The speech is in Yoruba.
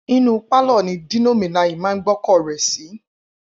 Inú pálọ̀ ni Dino Melaye máa ń gbọ́kọ̀ rẹ̀ sí.